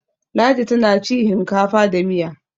ladi tana ci hinkafa da Miya